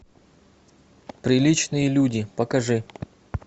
приличные люди покажи